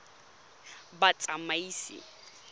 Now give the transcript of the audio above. batsamaisi